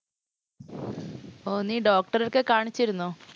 ഓ നീ doctor ഏ ഒക്കെ കാണിച്ചിരുന്നോ?